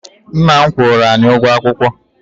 Nna m kwụrụ anyị ụgwọ akwụkwọ.